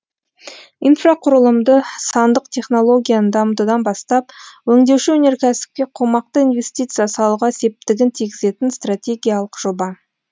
инфрақұрылымды сандық технологияны дамытудан бастап өңдеуші өнеркәсіпке қомақты инвестиция салуға септігін тигізетін стратегиялық жоба